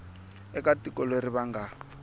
eka tiko leri va nga